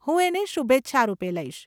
હું એને શુભેચ્છા રૂપે લઈશ.